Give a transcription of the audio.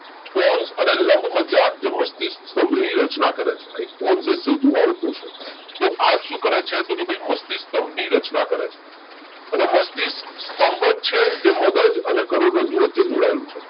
Pons અને લંબમજ્જા જે મસ્તિષ્ક સ્થંભ ની રચના કરે છે રાઈટ કોણ? જે સેતુ વાળું portion તો આ શું કરે છે તો કે ભઈ મસ્તિષ્ક સ્થંભ ની રચના કરે છે અને મસ્તિષ્ક સ્થંભ જ છે જે મગજ અને કરોડરજ્જુ વચ્ચે જોડાયેલું છે